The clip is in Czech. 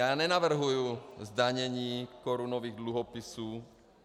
Já nenavrhuji zdanění korunových dluhopisů.